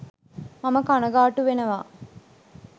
මම කණගාටු වෙනවා